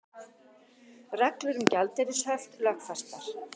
Reglur um gjaldeyrishöft lögfestar